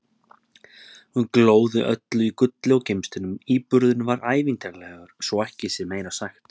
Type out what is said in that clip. Hún glóði öll í gulli og gimsteinum- íburðurinn var ævintýralegur, svo ekki sé meira sagt!